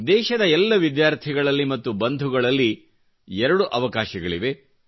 ದೇಶದ ಎಲ್ಲ ವಿದ್ಯಾರ್ಥಿಗಳಲ್ಲಿ ಮತ್ತು ಬಂಧುಗಳಲ್ಲಿ ಎರಡು ಅವಕಾಶಗಳಿವೆ